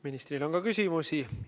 Ministrile on ka küsimusi.